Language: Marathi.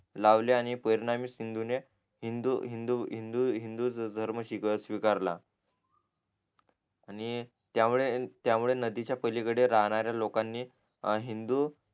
लावले आणि परिणामी सिन्धुने हिंदू हिंदू हिंदू हिंदू धर्म स्वी स्वीकारला आणि त्यामुळे त्यामुळे नदीच्या पलीकडे राहणाऱ्या लोकांनी हिंदू